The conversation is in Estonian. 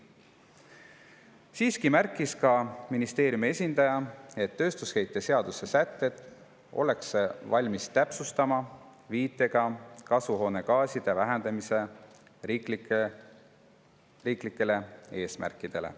" Siiski märkis ka ministeeriumi esindaja, et tööstusheite seaduse sätteid ollakse valmis täpsustama viitega riiklikele kasvuhoonegaaside vähendamise eesmärkidele.